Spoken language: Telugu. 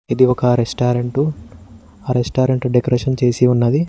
ఇది ఒక రెస్టారెంట్ ఆ రెస్టారెంట్ డెకరేషన్ చేసి ఉన్నది.